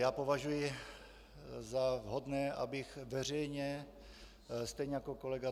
Já považuji za vhodné, abych veřejně stejně jako kolega